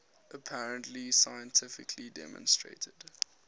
apparently scientifically demonstrated